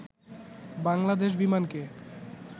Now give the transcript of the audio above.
Bangladesh বিমানকে